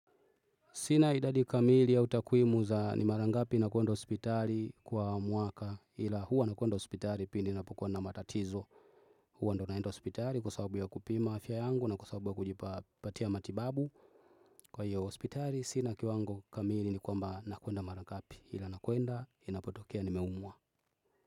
Sina idadi kamili au takwimu za ni mara ngapi nakwenda hospitali kwa mwaka ila huwa nakwenda hospitali pindi napokua na matatizo. Huwa ndo naenda hospitali kwa sababu ya kupima afya yangu na kwa sababu ya kujipa patia matibabu kwa hiyo hospitali Sina kiwango kamili ni kwamba nakwenda mara ngapi ila nakwenda inapotokea nimeumwa.